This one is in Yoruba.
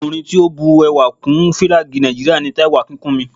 Ọkùnrin tí ó bu ẹwà sí Fílàgì Nàìjíríà ni Táíwò Akínkúnmi